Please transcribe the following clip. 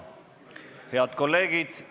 Head kolleegid!